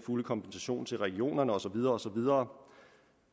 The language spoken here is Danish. fuld kompensation til regionerne og så videre og så videre